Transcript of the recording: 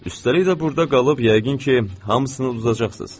Üstəlik də burda qalıb yəqin ki, hamısını udacaqsınız.